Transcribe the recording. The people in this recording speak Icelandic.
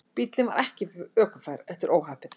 Bíllinn var ekki ökufær eftir óhappið